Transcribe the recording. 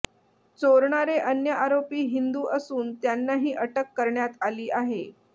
चोरणारे अन्य आरोपी हिंदु असून त्यांनाही अटक करण्यात आली आहे